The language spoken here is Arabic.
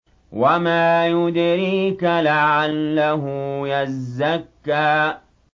وَمَا يُدْرِيكَ لَعَلَّهُ يَزَّكَّىٰ